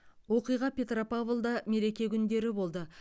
оқиға петропавлда мереке күндері болды